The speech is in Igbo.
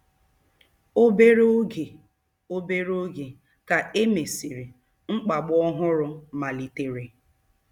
Obere oge Obere oge ka e mesịrị, mkpagbu ọhụrụ malitere.